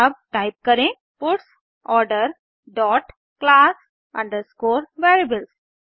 अब टाइप करें puts order dot class underscore variables